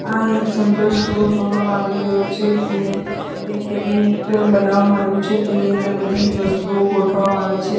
આ એક general store જોવામા આવી રહ્યો છે એની એક કેબિનેટ બનાવામાં આયુ છે તેની અંદર બધી વસ્તુઓ ગોઠવવામાં આવી છે.